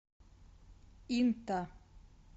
инта